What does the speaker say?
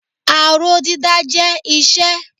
Aró dídá jẹ́ iṣẹ́.